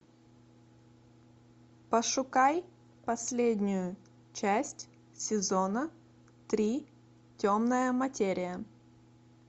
пошукай последнюю часть сезона три темная материя